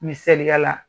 Misaliya la